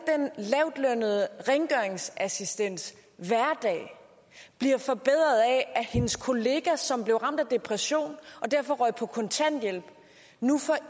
den lavtlønnede rengøringsassistents hverdag bliver forbedret af at hendes kollega som blev ramt af depression og derfor røg på kontanthjælp nu får